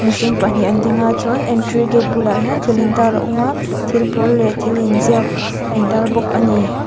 mihring pahnih an ding a chuan entry gate bulah hian thil intar a awm a thil pawl leh thil inziak a in tar bawk ani.